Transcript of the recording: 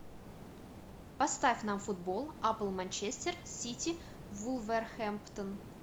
поставь нам футбол апл манчестер сити вулверхэмптон